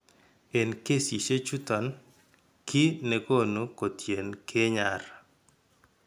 En kesiisyek chuuton, kiiy ne koonu kotien keey nyar.